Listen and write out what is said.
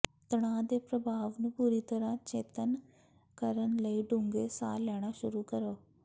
ਤਣਾਅ ਦੇ ਪ੍ਰਭਾਵ ਨੂੰ ਪੂਰੀ ਤਰ੍ਹਾਂ ਚੇਤੰਨ ਕਰਨ ਲਈ ਡੂੰਘੇ ਸਾਹ ਲੈਣਾ ਸ਼ੁਰੂ ਕਰੋ